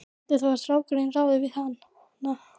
Heldur þú að strákurinn ráði við hana?